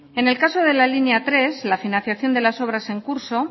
en el caso de la línea tres la financiación de las obras en curso